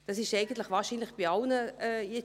Dies ist wohl wahrscheinlich für alle der Fall.